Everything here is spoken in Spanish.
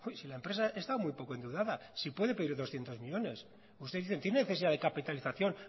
si la empresa está muy poco endeudada si puede pedir doscientos millónes usted dice tienen necesidad de capitalización